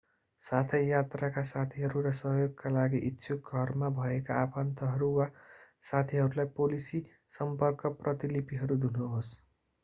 साथै यात्राका साथीहरू र सहयोगका लागि इच्छुक घरमा भएका आफन्तहरू वा साथीहरूलाई पोलिसी/सम्पर्क प्रतिलिपिहरू दिनुहोस्।